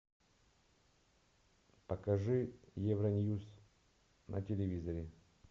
покажи евроньюс на телевизоре